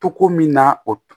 Togo min na o